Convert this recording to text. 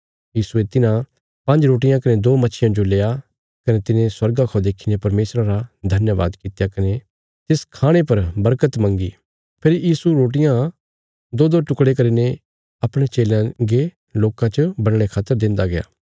यीशुये तिन्हां पांज्ज रोटियां कने दो मच्छियां जो लेआ कने तिने स्वर्गा खौ देखीने परमेशरा रा धन्यवाद कित्या कने तिस खाणे पर बरकत मंगी फेरी यीशु रोटियां दोदो टुकड़े करीने अपणयां चेलयां गे लोकां च बंडणे खातर देन्दा गया